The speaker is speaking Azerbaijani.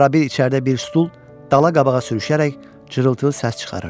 Arabir içəridə bir stul dala-qabağa sürüşərək cırıltılı səs çıxarırdı.